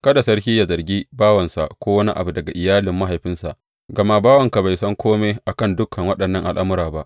Kada sarki yă zargi bawansa ko wani daga iyalin mahaifinsa, gama bawanka bai san kome a kan dukan waɗannan al’amura ba.